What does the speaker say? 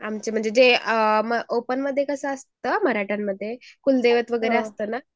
आमचे म्हणजे जे अ ओपनमध्ये कसं असतं मराठ्यांमध्ये कुलदैवत वगैरे असतं ना.